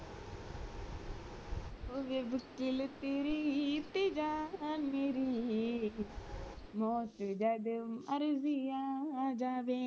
ਹੋਵੇ ਭੁਕਲ ਤੇਰੀ ਤੇ ਜਾਨ ਮੇਰੀ ਮੌਤ ਜਦ ਮਰਿਜੀ ਆ ਜਾਵੇ